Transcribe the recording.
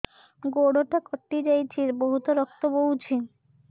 ଗୋଡ଼ଟା କଟି ଯାଇଛି ବହୁତ ରକ୍ତ ବହୁଛି